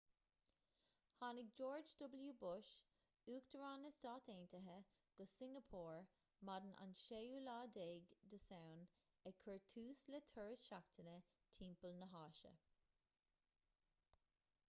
tháinig george w bush uachtarán na stát aontaithe go singeapór maidin an 16 samhain ag cur tús le turas seachtaine timpeall na háise